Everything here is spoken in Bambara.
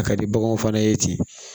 A ka di baganw fana ye ten